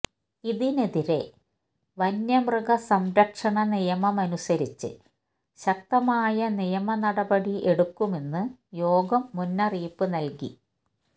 ഇതിനെതിരെ വന്യമൃഗ സംരക്ഷണ നിയമമനുസരിച്ച് ശക്തമായ നിയമ നടപടി എടുക്കുമെന്ന് യോഗം മുന്നറിയിപ്പ് നല്കി